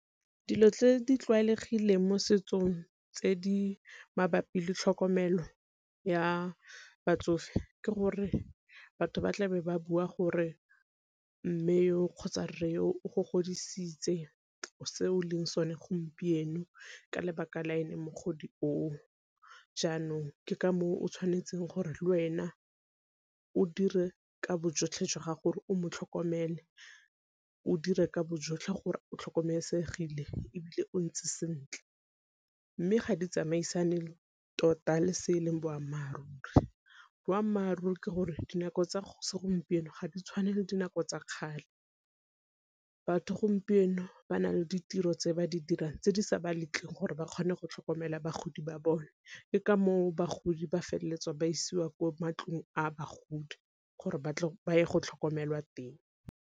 Dilo tse di tlwaelegileng mo setsong tse di mabapi le tlhokomelo ya batsofe ke gore batho ba tlabe ba bua gore mme yo kgotsa rre yo o go godisitse, o se o leng sone gompieno ka lebaka la ene mogodi o o. Jaanong ke ka moo o tshwanetseng gore le wena o dire ka bo jotlhe jwa gago gore o mo tlhokomele o dire ka bo jotlhe gore o tlhokomelesegile, ebile o ntse sentle. Mme ga di tsamaisane le tota le se e leng boammaaruri, boammaaruri ke gore dinako tsa go segompieno ga di tshwane le dinako tsa kgale batho gompieno ba na le ditiro tse ba di dirang tse di sa ba letleng gore ba kgone go tlhokomela bagodi ba bone, ke ka moo bagodi ba feleletsa ba isiwa ko matlong a bagodi gore ba ye go tlhokomelwa teng.